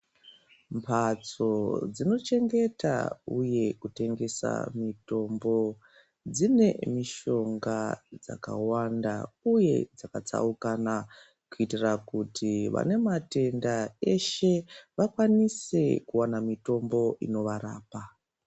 Mhatso dzinochengeta uye kutengesa mitombo dzine mishonga dzakawanda uye dzakatsaukana kuitira kuti vane matenda eshe vakwanise kuwana mitombo inovarapa.